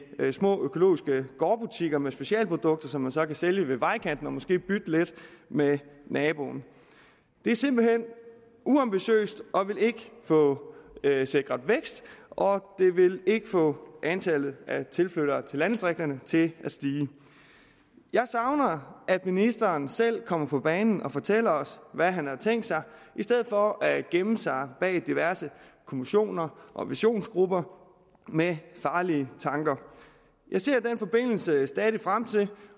med små økologiske gårdbutikker med specialprodukter som de så kan sælge ved vejkanten og måske bytte lidt med naboen det er simpelt hen uambitiøst og vil ikke få sikret vækst og det vil ikke få antallet af tilflyttere til landdistrikterne til at stige jeg savner at ministeren selv kommer på banen og fortæller os hvad han har tænkt sig i stedet for at gemme sig bag diverse kommissioner og visionsgrupper med farlige tanker jeg ser i den forbindelse stadig væk frem til